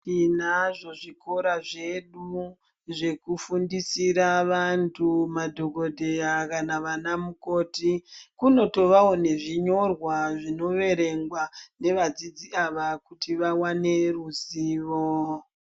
Tinazvo zvikora zvedu zvekufundisira vanthu madhokodheya kana vanamukoti kunotovawo nezvinyorwa zvinoverengwa nevadzidzi ava kuti vawane neruzivo.